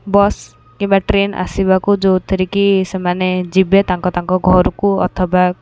ବସ କିମ୍ବା ଟ୍ରେନ ଆସିବାକୁ ଯଉଥିରେ କି ସେମାନେ ଯିବେ ତାଙ୍କ ତାଙ୍କ ଘରକୁ ଅଥବା --